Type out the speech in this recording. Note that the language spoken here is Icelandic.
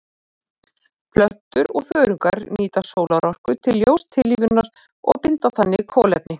Plöntur og þörungar nýta sólarorka til ljóstillífunar og binda þannig kolefni.